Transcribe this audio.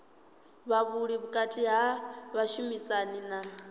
havhuḓi vhukati ha vhashumisani na